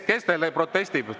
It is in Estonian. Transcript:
Kes teil protestib?